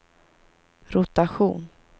rotation